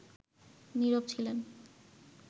নীরব ছিলেন